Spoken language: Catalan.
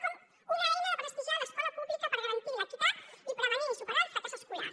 com una eina de prestigiar l’escola pública per garantir l’equitat i prevenir i superar el fracàs escolar